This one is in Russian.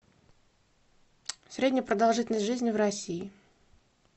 средняя продолжительность жизни в россии